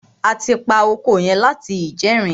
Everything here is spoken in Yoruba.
A ti pa oko yẹn láti ìjẹrin.